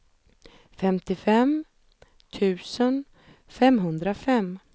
femtiofem tusen femhundrafem